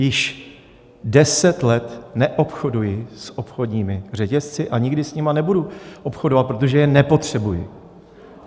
Již deset let neobchoduji s obchodními řetězci a nikdy s nimi nebudu obchodovat, protože je nepotřebuji.